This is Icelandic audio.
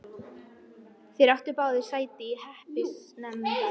Þeir áttu báðir sæti í hreppsnefnd.